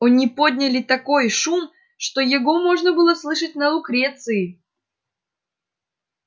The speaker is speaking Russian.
они подняли такой шум что его можно было слышать на лукреции